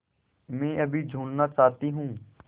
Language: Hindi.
मैं अभी झूलना चाहती हूँ